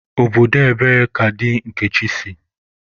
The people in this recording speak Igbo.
Obodo ebee ka di Nkechi si?